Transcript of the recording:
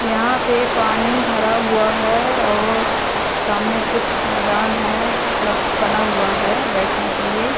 यहां पे पानी भरा हुआ है और सामने कुछ मैदान है लब बना हुआ है बैठने के लिए।